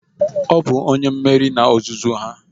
Ọ bụ onye mmeri n'ozuzu ya!